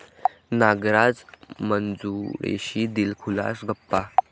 नागराज मंजुळेशी दिलखुलास गप्पा